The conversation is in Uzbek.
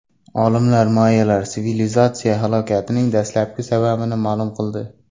Olimlar mayyalar sivilizatsiyasi halokatining dastlabki sababini ma’lum qildi.